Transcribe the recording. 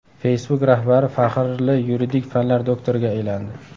Facebook rahbari faxrli yuridik fanlar doktoriga aylandi.